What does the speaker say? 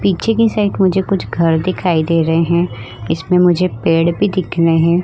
पीछे की साइड मुझे कुछ घर दिखाई दे रहे है इसमें मुझे पेड़ भी दिख रहे है ।